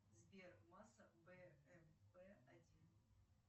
сбер масса бмп один